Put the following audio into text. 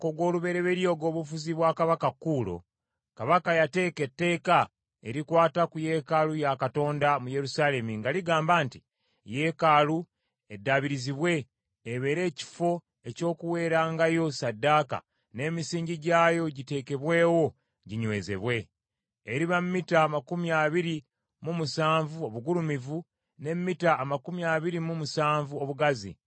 Mu mwaka ogw’olubereberye ogw’obufuzi bwa kabaka Kuulo, kabaka yateeka etteeka erikwata ku yeekaalu ya Katonda mu Yerusaalemi, nga ligamba nti: Yeekaalu eddaabirizibwe ebeere ekifo eky’okuweerangayo ssaddaaka, n’emisingi gyayo giteekebwewo ginywezebwe. Eriba mita amakumi abiri mu musanvu obugulumivu (27), ne mita amakumi abiri mu musanvu obugazi (27),